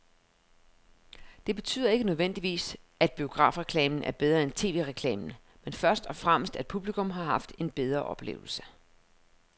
Det betyder ikke nødvendigvis, at biografreklamen er bedre end tv-reklamen, men først og fremmest at publikum har haft en bedre oplevelse.